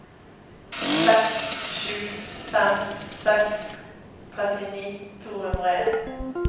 seks sju fem seks trettini to hundre og en